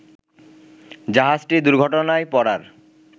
জাহাজটি দূর্ঘটনায় পড়ার